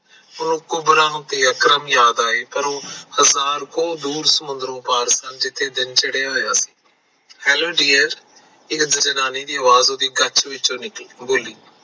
ਕੁਬਰਾ ਨੂੰ ਅਕਰਮ ਯਾਦ ਆਏ ਹਜਾਰ ਦੂਰ ਸਮੁੰਦਰੋ ਪਾਰ ਜਿੱਥੇ ਸੂਰਜ ਚੜਿਆ ਹੋਇਆ ਸੀ hello ਜੀਐਫ ਇੱਕ ਜਨਾਨੀ ਦੀ ਆਵਾਜ ਕੱਛ ਵਿਚੋ ਬੋਲੀ